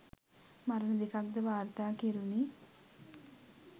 මරණ දෙකක් ද වාර්තා කෙරුණි.